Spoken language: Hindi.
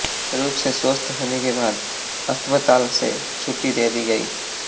रूप से स्वस्थ्य होने के बाद अस्पताल से छुट्टी दे दी गयी